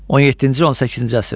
17-18-ci əsrlər.